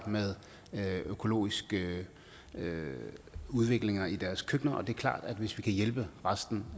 med økologiske udviklinger i deres køkkener og det er klart at hvis vi kan hjælpe resten